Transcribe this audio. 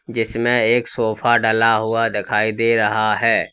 इसमें एक सोफा डला हुआ दिखाई दे रहा है।